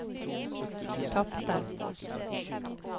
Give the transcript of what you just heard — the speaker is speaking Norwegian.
tapte